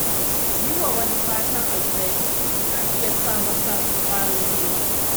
Yi wa wani fatan alheri yana iya sa masa kwarin gwiwa.